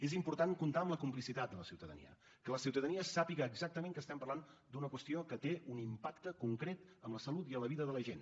és important comptar amb la complicitat de la ciutadania que la ciutadania sàpiga exactament que estem parlant d’una qüestió que té un impacte concret en la salut i en la vida de la gent